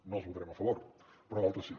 no els votarem a favor però d’altres sí